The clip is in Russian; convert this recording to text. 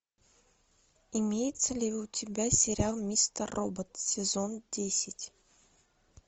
имеется ли у тебя сериал мистер робот сезон десять